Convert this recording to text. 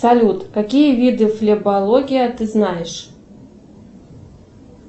салют какие виды флебология ты знаешь